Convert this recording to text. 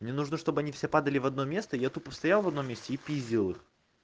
мне нужно чтобы они все падали в одно место я тупо стоял в одном месте и пиздил их